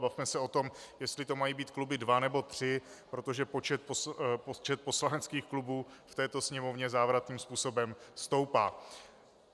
Bavme se o tom, jestli to mají být kluby dva, nebo tři, protože počet poslaneckých klubů v této Sněmovně závratným způsobem stoupá.